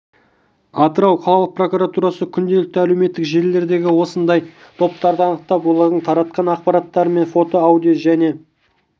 атырау қалалық прокуратурасы күнделікті әлеуметтік желілердегі осындай топтарды анықтап олардың таратқан ақпараттары мен фото аудио және